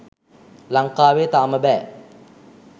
ලංකාවේ තාම බෑ